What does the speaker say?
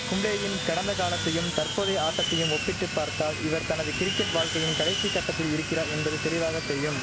கும்ளேயின் கடந்த காலத்தையும் தற்போதைய ஆட்டத்தையும் ஒப்பிட்டு பார்த்தால் இவர் தனது கிரிக்கெட் வாழ்க்கையின் கடைசி கட்டத்தில் இருக்கிறா என்பது தெளிவாக தெரியும்